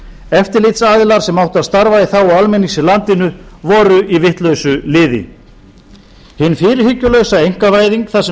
eftirlitsaðilar sem áttu að starfa í þágu almennings í landinu voru í vitlausu liði hin fyrirhyggjulausa einkavæðing þar sem